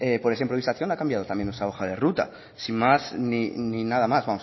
por esa improvisación ha cambiado también nuestra hoja de ruta sin más ni nada más